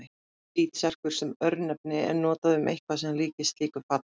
Hvítserkur sem örnefni er notað um eitthvað sem líkist slíku fati.